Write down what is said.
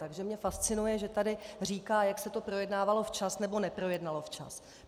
Takže mě fascinuje, že tady říká, jak se to projednávalo včas nebo neprojednalo včas.